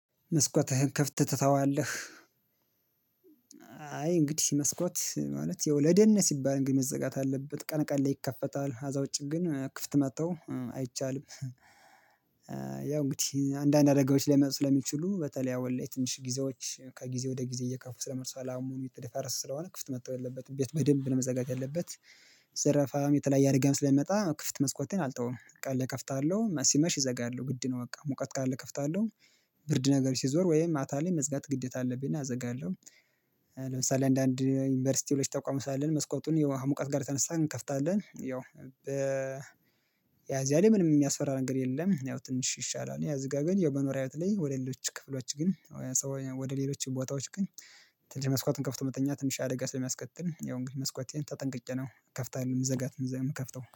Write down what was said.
መስኮትህን ክፍት ትተዋለህ? አይ እንግዲህ መስኮት ማለት የወለደን ሲባል እንግዲህ መዘጋት አለበት ቀን ቀን ላይ ይከፈታል አዛ ኸዛ ውጭ ግን ክፍት መጥቶ አይቻልም። ያው እንግዲህ አንዳንድ አደጋዎች ሊመጡ ስለሚችሉ በተለይ ያው ወይ ትንሽ ጊዜዎች ከጊዜ ወደ ጊዜ እየከፉ ስለመርሷል አሙሪት ተደፋረስ ስለሆነ ክፍት መጥቶ የለበትም ቤት በደንብ ለመዘጋጅ ያለበት። ዝርፋም የተለያየ ገም ስለሚመጣ ክፍት መስኮቴን አልተውም ቀን ላይ እከፍታለሁ ሲመሽ እዘጋለሁ ግድ ነው። በቃ ሙቀት ቃል እከፍታለሁ ብርድ ነገር ሲዞር ወይም ማታ ላይ መዝጋት ግዴታ አለብኝ እና እዘጋለሁ። ለምሳሌ አንዳንድ ዩኒቨርሲቲው ልጅ ታቋምሳለን መስኮቱን የውሃ ሙቀት ጋር ተነስተን እንከፍታለን ያው ያ እዚያ ላይ ምንም የሚያስፈራ ነገር የለም። ያው ትንሽ ይሻላል። ያ ዝጋገን የመኖሪያ አይነት ላይ ወደ ሌሎች ክፍሎች ግን። ወደ ሌሎች ቦታዎች ግን። ትልቅ መስኮቱን ከፍቶ መተኛት ትንሽ አደጋ ስለሚያስከትል ያው እንግዲህ መስኮቴን ተጠንቅቄ ነው እከፍታለሁ የምዘጋት ነው። እዛ የምከፍተው